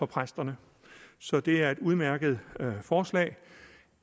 præsterne så det er et udmærket forslag